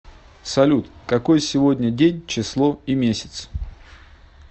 салют какой сегодня день число и месяц